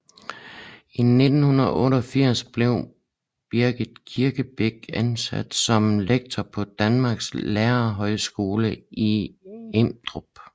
I 1988 blev Birgit Kirkebæk ansat som lektor på Danmarks Lærerhøjskole i Emdrup